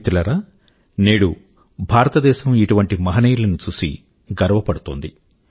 మిత్రులారా నేడు భారతదేశం ఇటువంటి మహనీయుల ను చూసి గర్వపడుతుంది